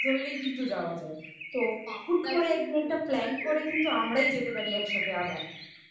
সেখান থেকে একটা bus ধরলেই কিন্তু যাওয়া যায়। তো হুট করে একটা plan করে কিন্তু আমরাই যেতে পারি একসাথে আবার